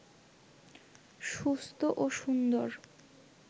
সুস্থ ও সুন্দর